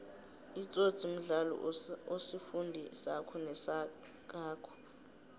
itsotsi mdlalo osifundi sako nosakhako